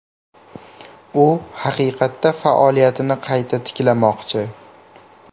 U haqiqatda faoliyatini qayta tiklamoqchi.